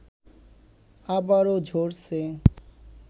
আবারও ঝরছে